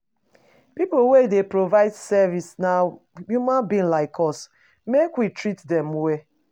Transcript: Pipo wey dey provide service na human being like us, make we treat dem well.